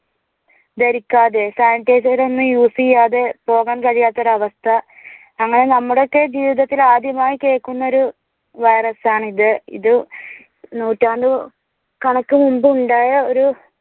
ഭരിക്കാതെ sanitizer ഒന്നും Use ചെയ്യാതെ പോകാൻ കഴിയാത്ത ഒരു അവസ്ഥ. അങ്ങനെ നമ്മുടെയൊക്കെ ജീവിതത്തിൽ ആദ്യമായി കേൾക്കുന്ന ഒരു വൈറസ് ആണിത്. ഇത് നൂറ്റാണ്ട് കണക്കു മുൻപുണ്ടായ ഒരു